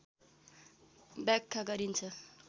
व्याख्या गरिन्छ